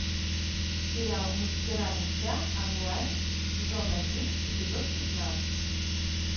сериал мастера меча онлайн сезон один эпизод пятнадцать